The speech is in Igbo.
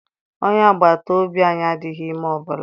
Onye agbata obi anyị adịghị ime ọbụla.